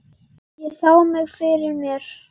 Ég sá mig fyrir mér.